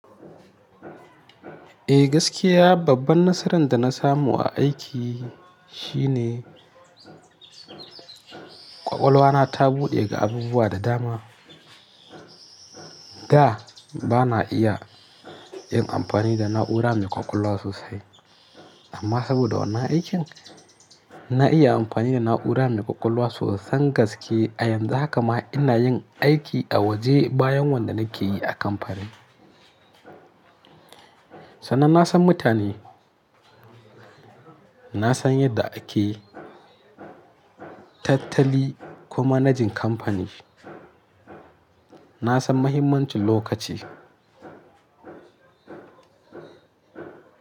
Eh gaskiya babban nasaran da na samu a aiki shine ƙwaƙwalwa na ta buɗe ga abubuwa da dama. Da ba na iya yin amfani da na'ura mai ƙwaƙwalwa sosai amma saboda wannan aikin na iya amfani da na'ura mai ƙwaƙwalwa sosai gaske a yanzu haka ma ina yin aiki a waje bayan wanda nake yi a kamfani. Sannan na san mutane, na san yadda ake tattali kuma managing kamfani. Na san mahimmancin lokaci.